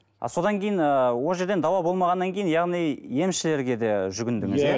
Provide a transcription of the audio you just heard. ы содан кейін ыыы ол жерден дауа болмағаннан кейін яғни емшілерге де жүгіндіңіз иә